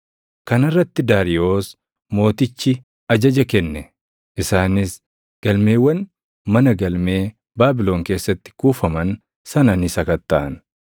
Kana irratti Daariyoos Mootichi ajaja kenne; isaanis galmeewwan mana galmee Baabilon keessatti kuufaman sana ni sakattaʼan.